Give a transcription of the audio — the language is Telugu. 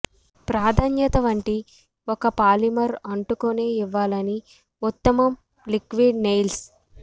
ప్రాధాన్యత వంటి ఒక పాలిమర్ అంటుకునే ఇవ్వాలని ఉత్తమం లిక్విడ్ నెయిల్స్